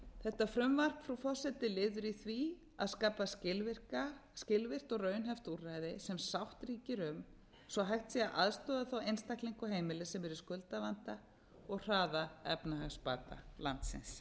þetta frumvarp frú forseti er liður í því að skapa skilvirkt og raunhæft úrræði sem sátt ríkir um svo hægt sé að aðstoða einstaklinga og heimili sem eru í skuldavanda og hraða efnahagsbata landsins